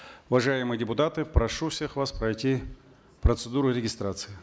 уважаемые депутаты прошу всех вас пройти процедуру регистрации